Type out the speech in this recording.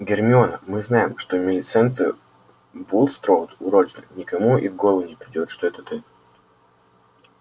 гермиона мы знаем что милисента булстроуд уродина никому и в голову не придёт что это ты